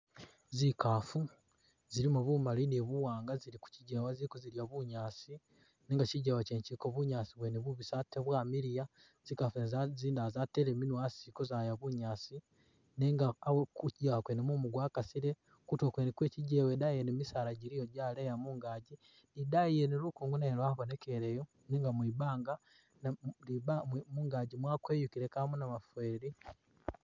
Zikaafu zilimu bumali ni buwaanga zili kukigeewa ziliko zidya bunyaasi nenga kigewa kyene kiliko bunyaasi bwene bubisi ate bwamiliya zikafu zene zate zindala zateele minwa asi ziliko zaya bunyaasi nenga kukigewa kyene mumu gwakasile. Kutulo kwene kwe kigewa idaayi wene misaala giliyo gyaleya mungaji, idaayi yene lugongo nalwo lwabonekeleyo nenga mwibanga namwo mungaji mwakweyukile kamu namufweli da.